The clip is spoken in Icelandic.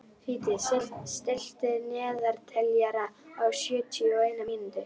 Fídes, stilltu niðurteljara á sjötíu og eina mínútur.